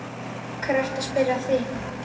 Af hverju ertu að spyrja að því?